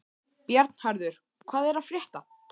Bjarnharður, hvað er að frétta?